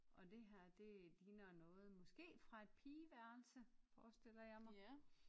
Og det her det ligner noget måske fra et pigeværelse forestiller jeg mig